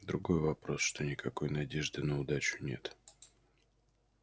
другой вопрос что никакой надежды на удачу нет